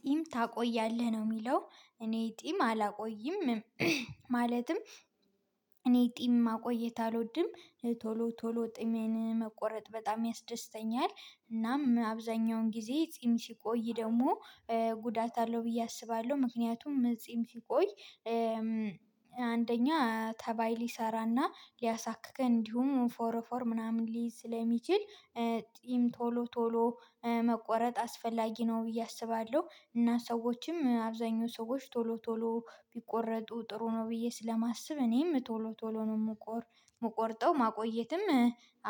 ጢም ታቆያለህ ነው የሚለው እኔ ጢም አላቆይም። ማለትም እኔ ጢም ማቆየት አልወድም። ቶሎ ቶሎ ጺሜን መቆረጥ በጣም ያስደስተኛል። እናም አብዛኛውን ጊዜ ጺም ሲቆይ ደግሞ ጉዳት አለው ብዬ አስባለሁ። ምክንያቱም ጺም ሲቆይ አንደኛ ተባይ ሊሰራና ሊያሳክክ እንዲሁም ፎረ ፎር ምናምን ሊይዝ ስለሚችል። ጺም ቶሎ ቶሎ መቆረጥ አስፈላጊ ነው ብዬ አስባለሁ። እና ሰዎችም አብዛኛው ሰዎች ቶሎ ቶሎ ቢቆረጡ ጥሩ ነው ብዬ ስለማስብ። እኔም ቶሎ ቶሎ ነው የምቆርጠው ማቆየትም